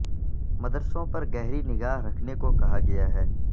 مدرسوں پر گہری نگاہ رکھنے کو کہا گیا ہے